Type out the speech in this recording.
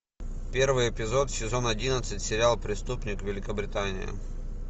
первый эпизод сезон одиннадцать сериал преступник великобритания